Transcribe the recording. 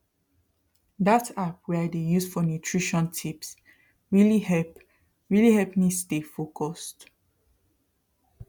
that app wey i dey use for nutrition tips really help really help me stay focused